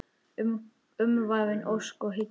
Umvafin ósk og hyggju.